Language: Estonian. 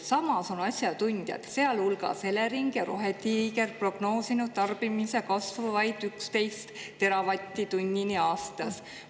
Samas on asjatundjad, sealhulgas Elering ja Rohetiiger, prognoosinud tarbimise kasvu vaid 11 teravatt-tunnini aastas.